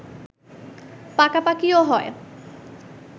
পাকাপাকিও হয়